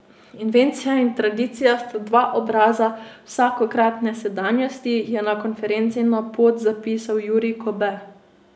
Invencija in tradicija sta dva obraza vsakokratne sedanjosti, je konferenci na pot zapisal Jurij Kobe.